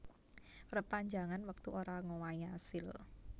Perpanjangan wektu ora ngowahi asil